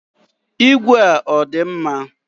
Ìgwè a ọ dị mma?